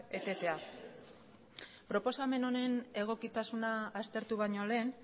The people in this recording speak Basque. etetea proposamen honen egokitasuna aztertu baino lehen